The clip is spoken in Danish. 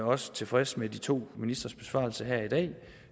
også tilfreds med de to ministres besvarelser her i dag